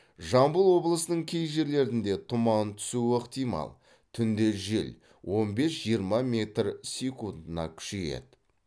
жамбыл облысының кей жерлерінде тұман түсуі ықтимал түнде жел он бес жиырма метр секунтына күшейеді